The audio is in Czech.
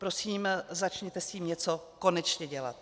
Prosím, začněte s tím něco konečně dělat.